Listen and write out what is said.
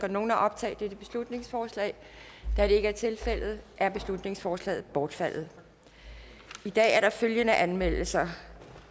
nogen at optage dette beslutningsforslag da det ikke er tilfældet er beslutningsforslaget bortfaldet i dag er der følgende anmeldelser